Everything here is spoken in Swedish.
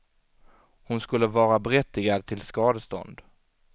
Hon skulle vara berättigad till skadestånd.